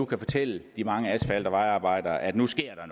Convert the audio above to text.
kan fortælle de mange asfalt og vejarbejdere at nu sker